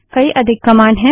कई अधिक कमांड हैं